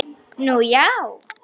Nú, já!